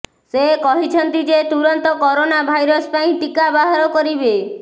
ସେ କହିଛନ୍ତି ଯେ ତୁରନ୍ତ କରୋନା ଭାଇରସ ପାଇଁ ଟିକା ବାହାର କରିବେ